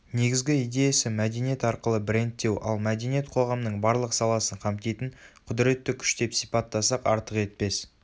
негізгі идеясы мәдениет арқылы брендтеу ал мәдениет қоғамның барлық саласын қамтитын құдіретті күш деп сипаттасақ артық етпес